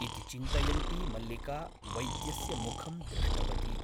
इति चिन्तयन्ती मल्लिका वैद्यस्य मुखं दृष्टवती ।